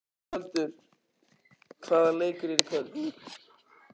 Skjöldur, hvaða leikir eru í kvöld?